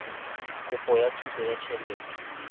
kopo ya thuso ya tjhelete